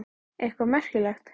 Eitthvað merkilegt?